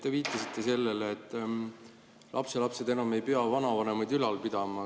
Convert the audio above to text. Te viitasite sellele, et lapselapsed ei pea enam vanavanemaid ülal pidama.